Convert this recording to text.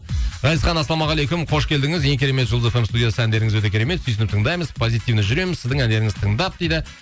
ғазизхан ассалаумағалейкум қош келдіңіз ең керемет жұлдыз эф эм студиясы әндеріңіз өте керемет сүйсініп тыңдаймыз позитивно жүреміз сіздің әндеріңізді тыңдап дейді